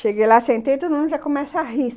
Cheguei lá, sentei, todo mundo já começa a rir.